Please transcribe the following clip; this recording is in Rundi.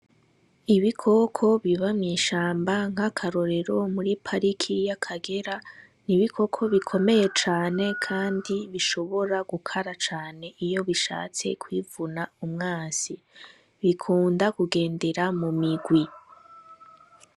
Ibikoko biba mw'ishamba nk'akarorero muri pariki ya kagera, n'ibikoko bikomeye cane kandi bishobora gukara cane iyo bishatse kwivuna umwansi, bikunda kugendera mu migwi.